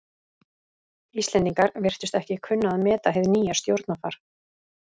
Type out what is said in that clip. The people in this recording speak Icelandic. Íslendingar virtust ekki kunna að meta hið nýja stjórnarfar.